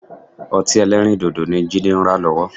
Ọtí-ẹlẹ́rìndodo ni Jídé ń rà lọ́wọ́